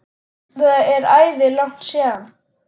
Það er æði langt síðan.